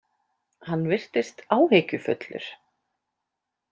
Hann virtist áhyggjufullur.